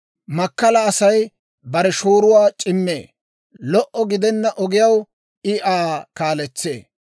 Makkala Asay bare shooruwaa c'immee; lo"o gidenna ogiyaw I Aa kaaletsee.